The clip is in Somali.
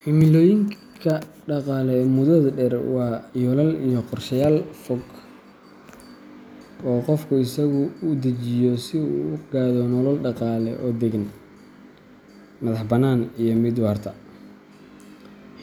Himilooyinka dhaqaale ee muddada dheer waa yoolal iyo qorshayaal fog oo qofku isagu u dejiyo si uu ugu gaadho nolol dhaqaale oo deggan, madax-bannaan, iyo mid waarta.